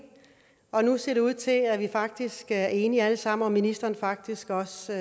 og nu ser det ud til at vi faktisk er enige alle sammen og at ministeren faktisk også